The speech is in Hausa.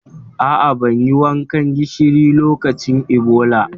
A'a, ban yi wankan gishiri lokacin Ebola.